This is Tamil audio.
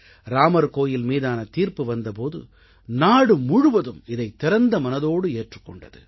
இராமர் கோயில் மீதான தீர்ப்பு வந்த போது நாடு முழுவதும் இதைத் திறந்த மனதோடு ஏற்றுக் கொண்டது